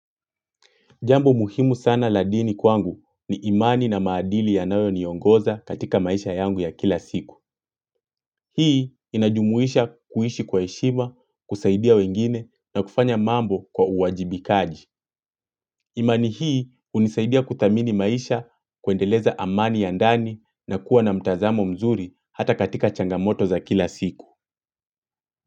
Jambo muhimu sana la dini kwangu ni imani na maadili yanayo niongoza katika maisha yangu ya kila siku. Hii inajumuisha kuishi kwa heshima, kusaidia wengine na kufanya mambo kwa uwajibikaji. Imani hii hunisaidia kuthamini maisha kuendeleza amani ya ndani na kuwa na mtazamo mzuri hata katika changamoto za kila siku.